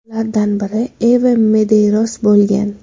Ulardan biri Evem Medeyros bo‘lgan.